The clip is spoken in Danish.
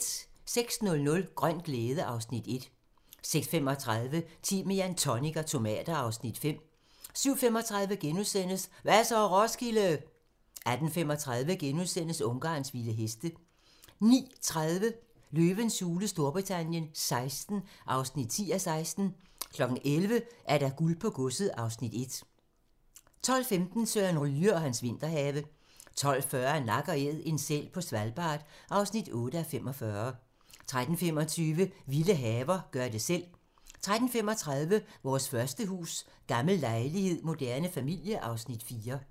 06:00: Grøn glæde (Afs. 1) 06:35: Timian, tonic og tomater (Afs. 5) 07:35: Hva' så, Roskilde? * 08:35: Ungarns vilde heste * 09:30: Løvens hule Storbritannien XVI (10:16) 11:00: Guld på godset (Afs. 1) 12:10: Søren Ryge og hans vinterhave 12:40: Nak & Æd - en sæl på Svalbard (8:45) 13:25: Vilde haver - gør det selv 13:35: Vores første hus: Gammel lejlighed moderne familie (Afs. 4)